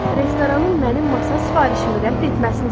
Restoranın mənim masa sifarişimi rədd etməsini istəyirəm.